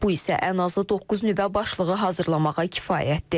Bu isə ən azı doqquz nüvə başlığı hazırlamağa kifayətdir.